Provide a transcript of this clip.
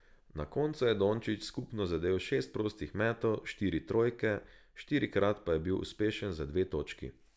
Na koncu je Dončić skupno zadel šest prostih metov, štiri trojke, štirikrat pa je bil uspešen za dve točki.